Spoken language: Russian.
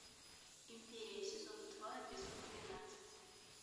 империя сезон два эпизод двенадцать